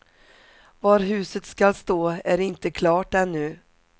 Var huset skall stå är inte klart ännu.